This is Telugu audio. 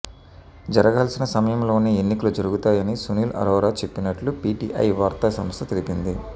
జరగాల్సిన సమయంలోనే ఎన్నికలు జరుగుతాయని సునీల్ అరోరా చెప్పినట్టు పీటీఐ వార్తా సంస్థ తెలిపింది